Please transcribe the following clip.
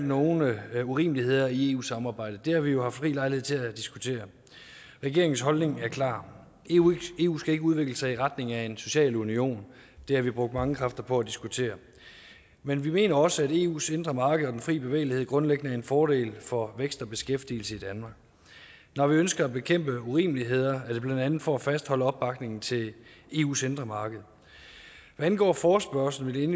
nogle urimeligheder i eu samarbejdet og det har vi jo haft rig lejlighed til at diskutere regeringens holdning er klar eu eu skal ikke udvikle sig i retning af en social union det har vi brugt mange kræfter på at diskutere men vi mener også at eus indre marked og den fri bevægelighed grundlæggende er en fordel for vækst og beskæftigelse i danmark når vi ønsker at bekæmpe urimeligheder er det blandt andet for at fastholde opbakningen til eus indre marked hvad angår forespørgslen vil